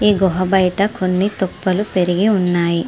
ఈ గుహ బయట కొన్ని తుప్పలు పెరిగి ఉన్నాయి.